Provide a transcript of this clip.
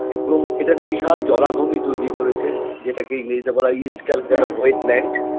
এবং এটা একটা বিশাল জলাভূমি তৈরি করেছে যেটাকে ইংরেজিতে বলা হয় east calcutta wet land